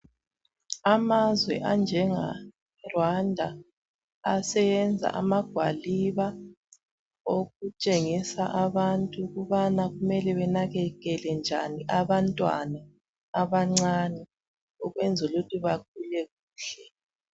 Amazwe anjenga Rwanda aseyenza amagwaliba okutshengisa abantu ukubana kumele benakekele njani abantwana abancane ukwenzela ukuthi bakhule kuhle